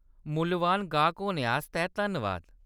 मुल्लबान गाह्‌‌क होने आस्तै धन्नबाद।